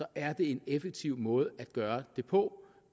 er det en effektiv måde at gøre det på